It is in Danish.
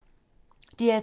DR2